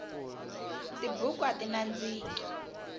tibuku ati nandziki